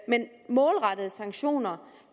målrettede sanktioner